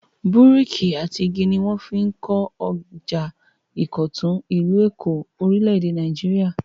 Búríkì àti igi ni wọ́n fi kọ ọjà ìkọ̀tún, ìlú Èkó, orílẹ̀-èdè Nàìjíríà.